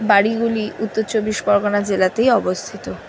বাড়িগুলি উত্তর চব্বিশ পরগনা জেলাতেই অবস্থিত ।